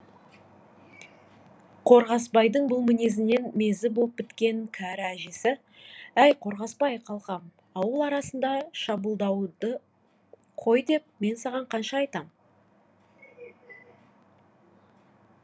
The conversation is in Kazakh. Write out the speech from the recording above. қорғасбайдың бұл мінезінен мезі боп біткен кәрі әжесі әй қорғасбай қалқам ауыл арасында шабуылдауыңды қой деп мен саған қанша айтам